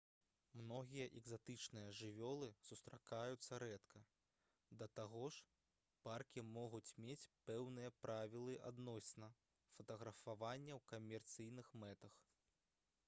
многія экзатычныя жывёлы сустракаюцца рэдка да таго ж паркі могуць мець пэўныя правілы адносна фатаграфавання ў камерцыйных мэтах